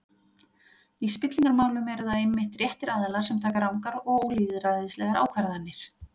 Í spillingarmálum eru það einmitt réttir aðilar sem taka rangar og ólýðræðislegar ákvarðanir.